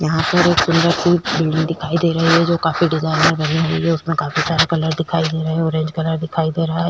यहाँ पर एक सुंदर सी बिल्डिंग दिखाई दे रही है जो काफी डिजाइनर बनी हुई है उसमें काफी सारे कलर दिखाई दे रहे हैं ऑरेंज कलर दिखाई दे रहा है।